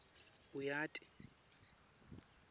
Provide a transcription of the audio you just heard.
uyati